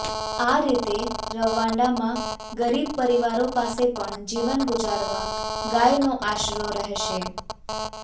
આ રીતે રવાંડામાં ગરીબ પરિવારો પાસે પણ જીવન ગુજારવા ગાયનો આશરો રહેશે